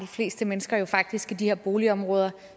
fleste mennesker jo faktisk i de her boligområder